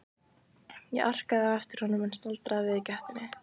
Ég arkaði á eftir honum en staldraði við í gættinni.